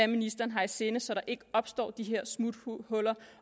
ministeren har i sinde så der ikke opstår de her smuthuller